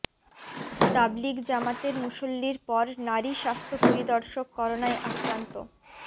তাবলিগ জামাতের মুসল্লির পর নারী স্বাস্থ্য পরিদর্শক করোনায় আক্রান্ত